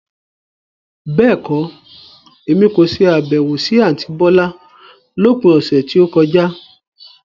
Bẹ́ẹ̀kọ́, Èmi kò ṣe Àbẹ̀wò sí àntí bọ́lá lópin ọ̀sẹ̀ tí ó kọjá.